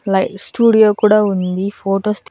live studio కూడా ఉంది photos తి--